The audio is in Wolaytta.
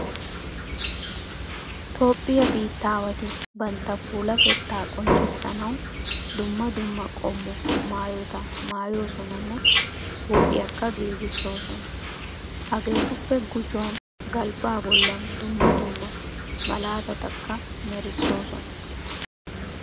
Toophphiya biittaawati bantta puulatettaa qonccissanawu dumm dumma qommo maayota maayoosonanne huuphiyakka giigissoosona. Hageetuppe gujuwan galbbaa bollan dumm dumma malaatatakka merissoosona.